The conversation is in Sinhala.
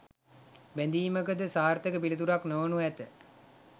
බැඳීමද සාර්ථක පිළිතුරක් නොවනු ඇත.